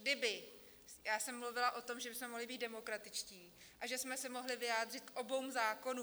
Kdyby - já jsem mluvila o tom, že bychom mohli být demokratičtí a že jsme se mohli vyjádřit k oběma zákonům.